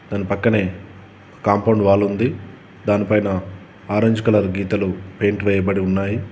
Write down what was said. దాని పక్కనే కాంపౌండ్ వాలుంది దానిపైన ఆరెంజ్ కలర్ గీతలు పెయింట్ వేయబడి ఉన్నాయి.